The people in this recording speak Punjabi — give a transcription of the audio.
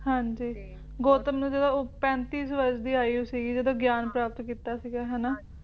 ਹਾਂਜੀ ਗੌਤਮ ਨੂੰ ਜਦੋ ਉਹ ਪੈਂਤੀ ਵਰਸ਼ ਦੀ ਆਯੂ ਸੀਗੀ ਜਦੋ ਗਿਆਨ ਪ੍ਰਾਪਤ ਕੀਤਾ ਸੀਗਾ ਹਨਾ